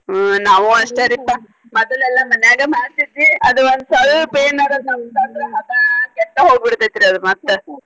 ಹ್ಮ ನಾವು ಅಷ್ಟರಿಪಾ ಮೊದಲು ಎಲ್ಲ ಮನ್ಯಾಗ ಮಾಡ್ತಿದ್ವಿ ಅದ ಒಂದ ಸ್ವಲ್ಪ ಏನಾರಾ ಇದು ಇದು ಹದಾ ಕೆಟ್ಟ ಹೋಗ್ಬಿಡ್ತೇತ್ರಿ ಅದ ಮತ್ತ.